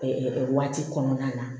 waati kɔnɔna na